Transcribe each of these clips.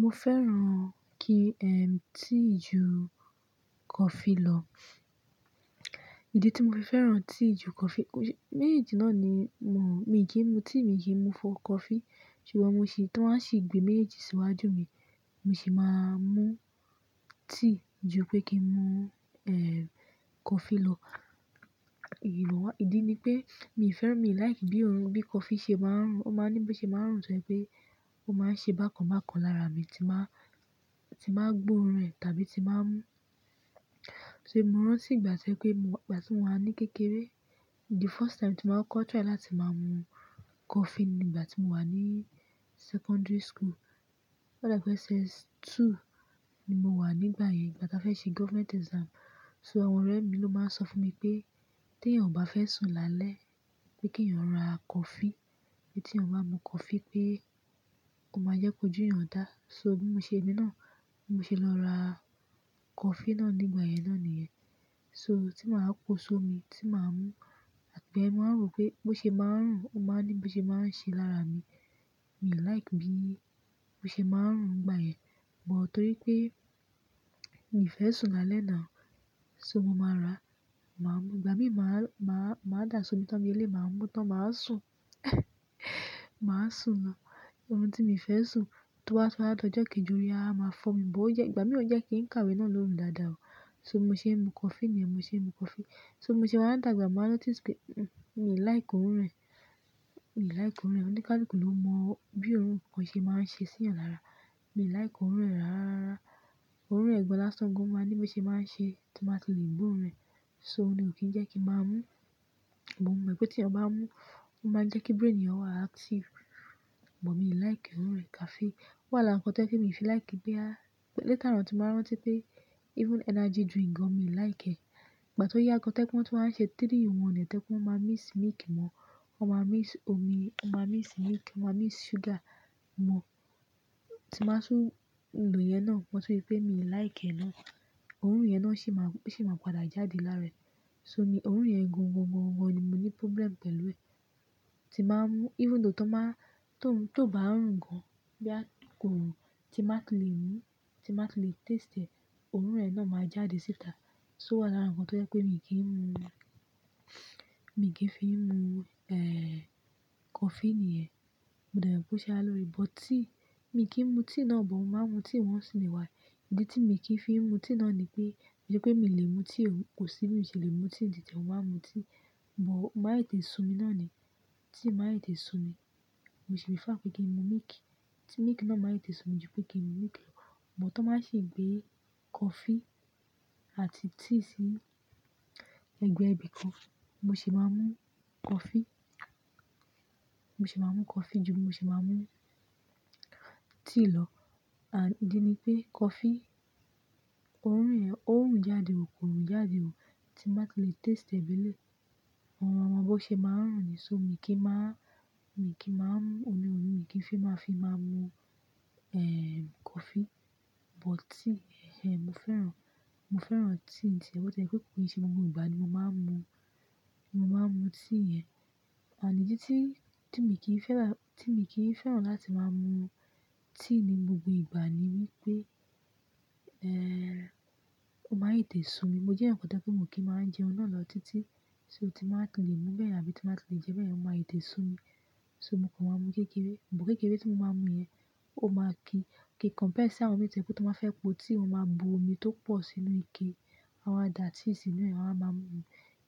Mo fẹ́ràn tea ju coffee lọ. Ìdí tí mo fi fẹ́ràn tea ju coffee, méjì náà ni, mi kì í mu tea, mi kì í mu coffee. Ṣùgbọ́n mo ṣi, tí wọ́n á ṣi gbé méjejì síwájú mi, mo sì máa a mu tea ju pé kí n mu coffee lọ. Ìdí ni pé mi ò fẹ́ràn, mi ò like bí òórùn bí coffee ṣe máa ń rùn. Ó máa ń ní bí ó ṣe máa ń rùn tó ń ṣe pé ó máa ń ṣe bákan bákan lára mi tí n báa, tí n ba gbóòórùn rẹ̀ tàbí tí nba mu ṣé mo rántí ìgbà to se pé, ìgbà tí mo wà ní kékeré? The first time tí ma kọ́kọ́ try láti máa mu coffee ni ìgbà tí mo wà ní secondary school. Ò dà pé SS2 ni mo wà nígbà yẹn, ìgbà táa fẹ́ ṣe government exam. So àwọn ọ̀rẹ́ mi ló máa ń sọ fún mi pé tí èèyàn ò bá fẹ́ sùn lálẹ́ pé kí èèyàn ra coffee, pé tí èèyàn bá mu coffee pé ó máa jẹ́ kó jú èèyàn dá. So bí mo ṣe, emi náà, bí mo ṣe lọ ra coffee náà nígbà yẹn náà nìyẹn. So tí màá pó sómi, tí màá mú àti ìgbà yen mo wa wò pé bó ṣe máa ń rùn, ó máa ń ní bí ó ṣe máa ń ṣe lára mi. Mi ò like bí ó ṣe máa ń rùn ngbà yẹn. But torí pé mi ò fẹ́ sùn lálẹ́ now. So mo máa ra, màá mú. Ìgbà mí màá dà sómi tán bi eleyii, màá mú tán, màá sùn. Màá sùn lo. Orun tí mi o fẹ́ sùn, tó bá tun wa di ojo kejì, or a tun wa máa fọ́ mi. But ó jẹ́, ìgbà mí ò jẹ́ kí n kàwé nilu ki dáadáa o. So bi mo ṣe n mu coffee ni, mo se n mu coffee. So be mo se wá dàgbà, mo wa notice pe mi ò like òórùn rẹ̀. Mi ò like òórùn rẹ̀. Ó ní kaluku ló mú ọ bí òórùn coffee ṣe máa ń ṣe sí èèyàn lára. Mi ò like òórùn rẹ̀ rárá. Òórùn rẹ̀ gan láṣan gan. Ó máa ń ní bí ó ṣe máa ń ṣe tí mo bá ti lè gbo òórùn rẹ̀. So oun ni o kí n jẹ́ kí n máa mú. But mo mọ̀ pé tí èèyàn bá mú ó máa ń jẹ́ kí brain èèyàn wà active. Bọ̀ mi ò like òórùn rẹ̀. Ó wà lára nkan tó jẹ́ pé mi ò fi like boya. Later on tí n bá rántí pé even energy drink gan mi ò like ẹ. Ìgbà tí ó yá gan to je pe wọ́n tun wa á n ṣe three-in-one e to je pe wọ́n máa míx milk mọ, wọ́n máa míx omi, wọ́n máa míx milk, wọ́n máa míx sugar mọ, tí màá tun lo iyẹn náà, mo tún rí pé mi ò like ẹ náà. Òórùn yẹn ná sì máa, sì máa padà jáde lára ẹ̀. So ni òórùn yẹn gan gan gan, ni mo ní problem pẹ̀lú ẹ. Tí màá mú-- even though tó máa, tó ń, tó bá ń rùn gan boya ko rùn, tí n ba ti lè mú, tí n ba ti lè taste ẹ, òórùn e náà máa jáde síta. So ó wà lára ohun tó jẹ́ pé mi kì í mu. Mi kì fi mu ehn coffee niyen. Mo dẹ̀ mo pé ó ṣe ára lóore. But tea, mi kì mu tea náà, but mo máa ń mu tea once in a while. Ìdí tí mi kì í fi mu tea náà ni pé, ki se pé mi lè mu tea ò, kò sí bí mi ṣe lè mu tea ní titi e, mo máa mu tea. But, o máa n tètè su mi ná ni. Tea máa n tètè su mi. Mo sì prefer pé kí n mu milk. Ti milk náà má tètè su mi ju pé kí n mu milk lọ. But, to bá ṣi gbé coffee àti tea sí ẹ̀gbẹ́ ibi kan, mo sì máa mu coffee. Mo sì máa mu coffee ju bi mo se máa mu tea lọ. Ànd idì ni pé coffee òórùn yẹ̀n, ó ń rùn jáde o, kò rùn jáde o. Ti n bá ti lè taste ẹ bí eleyii, mo máa mọ bó ṣe máa ń rùn ni. So mi kì í máa, mi kì máa-. Oun ni mo fi máa fi máa mu ehn coffee. But tea, ẹh ẹh mo fẹ́ràn, mo fẹ́ràn tea. Bó tiẹ̀ pé kí n ṣe gbogbo ìgbà ni mo máa ń mu, ni mo máa ń mu tíì yẹn. Àní dì tí, tí mi kì í fẹ́ràn, tí mi kì í fẹ́ràn láti máa mu tíì ní gbogbo ìgbà ni wípé ehn ó máì tè so mi. Mo jẹ́ èèyàn kan tẹ́lẹ̀ pé mo kì í máa ń jẹun náà lọ títí. So tí màá ti lè mú bẹ́ẹ̀ àbí tí màá ti lè jẹ bẹ́ẹ̀, ó má tètè so mi. So mo kàn máa ń mu kékeré. Bọ̀ kékeré tí mo máa ń mu yẹn ó máa ki. Kí kọ̀mpía sí àwọn míì tójẹ pé tí'wọ́n bá fẹ po tíì won maa bu omí to po sínú ike, won a wáa da tíì sínú e won a wa máa mu,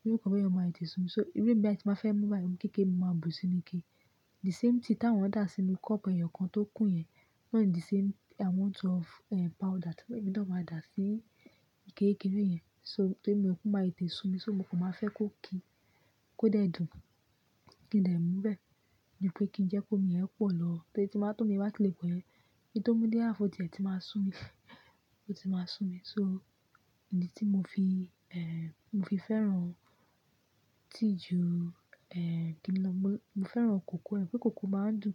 irú nǹkan be yen ó máa tètè su mi so irú èmi be ti n bá fẹ mu bayen omí kékeré mo má bu sínú Ike. The same tíì ti àwọn da sínú kọ́ọ̀pù eyokan to kun yen irú e ni di same amount of powder ti èmi náà máa da si ike kékeré yen so torí mi ò kú, màá tètè su mi. So mo kàn máa fẹ́ kó ki, kó dẹ̀ dùn, kí n lè mú bẹ́ẹ̀. Dípé kí n jẹ́ kí omi yẹn pọ̀ lọ torí tí mbá tómi yen bá ti lè po yen. Kín tó mú dé ààfu o tíẹ̀ tí màá su mi, ó ti máa su mi. So ìdí tí mo fi ehn mo fi fẹ́ràn tíì ju ehn kinni lọ. Mo, mo fẹ́ràn kòkó ẹ̀, pé kòkó máa ń dùn.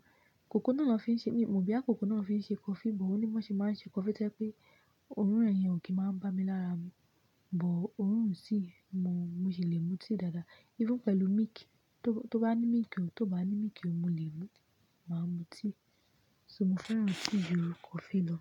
Kòkó náà ló fi ń ṣe mí, mo bí á kòkó náà ló fi ṣe coffee. Bọ̀ òní bí wọ́n ṣe máa ń ṣe coffee tẹ́lẹ̀ pé òórùn rẹ̀ yẹn ò kí máa ń bá mi lára mu. Bọ̀ òórùn tíì, mo ṣì lè mu tíì dáadáa even pẹ̀lú milk, tó bá ní milk o, tó bá ní milk o, mo lè mu. Mo máa ń mu tíì. So mo fẹ́ràn tii ju kofi lọ.